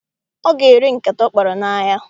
Ọ ga-ere nkata ọ kpara n'ahịa.